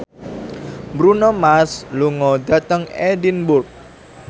Bruno Mars lunga dhateng Edinburgh